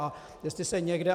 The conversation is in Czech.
A jestli se někde...